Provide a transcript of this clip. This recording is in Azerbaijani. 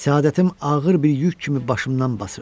Səadətim ağır bir yük kimi başımdan basırdı.